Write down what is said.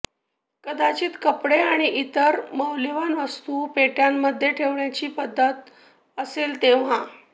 कदाचित कपडे आणि इतर मौल्यवान वस्तू पेटयांमध्ये ठेवण्याची पद्धत असेल तेव्हा